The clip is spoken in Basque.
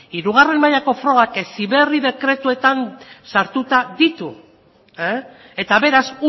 hirugarren mailako frogak heziberri dekretuetan sartuta ditu eta beraz